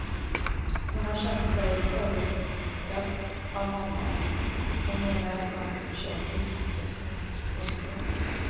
Hon har känt sig förödmjukad av honom, hon menar att han försökt utnyttja sin maktposition.